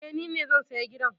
Eh, ni ne zan saya gidan